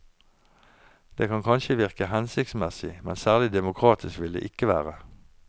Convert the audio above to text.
Det kan kanskje virke hensiktsmessig, men særlig demokratisk vil det ikke være.